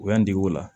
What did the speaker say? U y'an dege o la